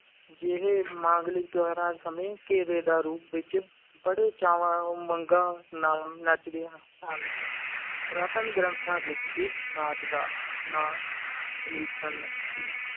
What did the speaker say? ਜਿਹੋ ਮਾਂਗਲਿਕ ਤਿਉਹਾਰਾਂ ਸਮੇਂ ਘੇਰੇ ਦਾ ਰੂਪ ਵਿੱਚ ਬੜੇ ਚਾਵਾਂ ਉਮੰਗਾਂ ਨਾਲ ਨੱਚਦੀਆਂ ਹਨ, ਪੁਰਾਤਨ ਗ੍ਰੰਥਾਂ ਵਿੱਚ ਇਸ ਨਾਚ ਦਾ ਨਾਂ ਹਲੀਸਨ ਸੀ